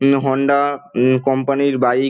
Hero Honda হু company -র bike.